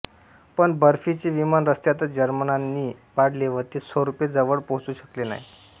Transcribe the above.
पण बर्पीचे विमान रस्त्यातच जर्मनांनी पाडले व ते सोर्पे जवळ पोहचु शकले नाही